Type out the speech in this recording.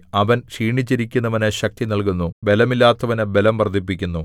അവൻ ക്ഷീണിച്ചിരിക്കുന്നവനു ശക്തി നല്കുന്നു ബലമില്ലാത്തവനു ബലം വർദ്ധിപ്പിക്കുന്നു